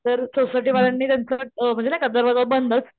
तर सोसायटी वाल्यांनी त्यांचं अ म्हणजे नाही का दरवाजा बंदच